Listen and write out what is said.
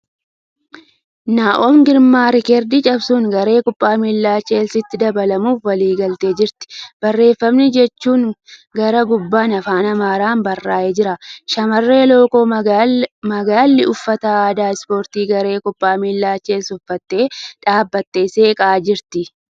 Naa'omii Girmaa riikardii cabsuun garee kubbaa miilaa Cheelsiitti dabalamuuf waliigaltee jirti barreeffamni jedhu gara gubbaan Afaan Amaaraan barraa'ee jira. Shamarree lookoo magaalli uffata addaa Ispoortii garee kubbaa miilaa Cheelsii uffattee dhaabattee seeqaa jirti.